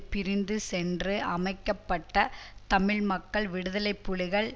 பிரிந்து சென்று அமைக்க பட்ட தமிழ் மக்கள் விடுதலை புலிகள்